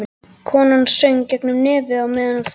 Konan söng gegnum nefið á meðan hún þvoði sér.